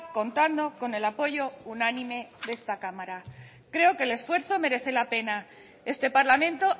contando con el apoyo unánime de esta cámara creo que el esfuerzo merece la pena este parlamento